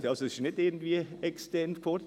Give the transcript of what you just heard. Also ist es nicht irgendwie extern gefordert.